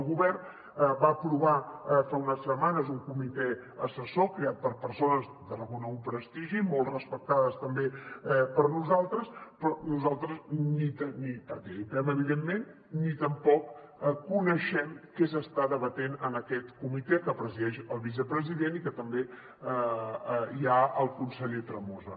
el govern va aprovar fa unes setmanes un comitè assessor creat per persones de reconegut prestigi i molt respectades també per nosaltres però nosaltres ni hi participem evidentment ni tampoc coneixem què s’està debatent en aquest comitè que presideix el vicepresident i on també hi ha el conseller tremosa